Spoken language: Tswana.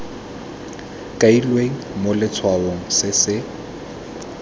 kailweng mo letshwaong se se